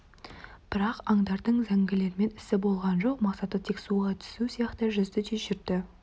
бірақ аңдардың зәңгілермен ісі болған жоқ мақсаты тек суға түсу сияқты жүзді де жүрді